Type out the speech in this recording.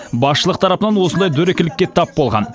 басшылық тарапынан осындай дөрекілікке тап болған